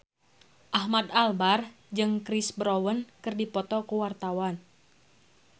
Ahmad Albar jeung Chris Brown keur dipoto ku wartawan